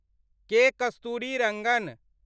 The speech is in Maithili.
के. कस्तुरीरंगन